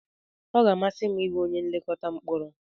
Ọ ga-amasị m ịbụ onye nlekọta mkporo.